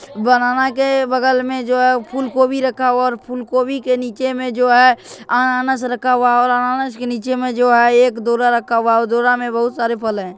बनाना के बगल में जो है फुलकोबी रखा हुआ है और फुलकोबी के नीचे में जो है अनानस रखा हुआ है और अनानस के नीचे में जो है एक दउरा रखा हुआ है और दउरा में बहुत सारे फल हैं।